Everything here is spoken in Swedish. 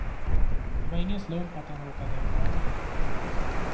Det var ingen slump att han råkade vara där. punkt